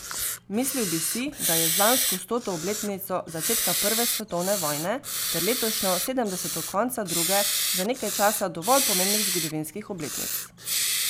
Mislili bi si, da je z lansko stoto obletnico začetka prve svetovne vojne ter letošnjo sedemdeseto konca druge za nekaj časa dovolj pomembnih zgodovinskih obletnic.